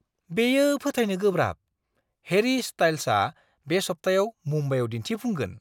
बेयो फोथायनो गोब्राब, हेरी स्टाइल्सआ बे सप्तायाव मुम्बाइआव दिन्थिफुंगोन!